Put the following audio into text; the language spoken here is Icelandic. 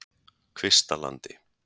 Kvistalandi